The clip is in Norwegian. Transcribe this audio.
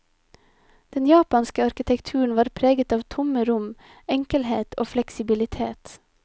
Den japanske arkitekturen var preget av tomme rom, enkelhet og fleksibilitet.